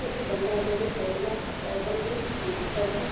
जिसमें बंधा गोभी करेला है बैगन है टमाटर है।